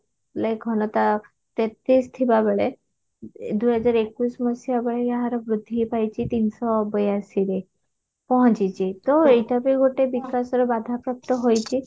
like ଘନତା ତେତିଶ ଥିବାବେଳେ ଦୁଇହଜାର ଏକୋଇଶି ମସିହା ବେଳେ ଏହାର ବୃଦ୍ଧି ପାଇଛି ତିନିଶହ ବୟାଅଶିରେ ପହଞ୍ଚିଛି ତ ଏଇଟା ବି ଗୋଟେ ବିକାଶର ବାଧା ପ୍ରାପ୍ତ ଅଛି